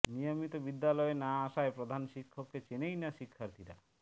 নিয়মিত বিদ্যালয়ে না আসায় প্রধান শিক্ষককে চেনেই না শিক্ষার্থীরা